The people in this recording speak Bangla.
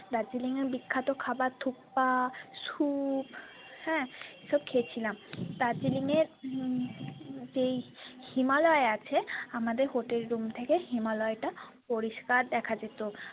দার্জিলিংয়ের বিখ্যাত খাবার thuppasoup হ্যাঁ সব খেয়েছিলাম দার্জিলিংয়ে হম যেই himalaya আছে আমাদের hotel room থেকে himalaya টা পরিষ্কার দেখা যেত।